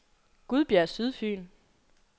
Gudbjerg Sydfyn